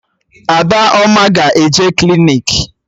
Adaoma ga-eje klinik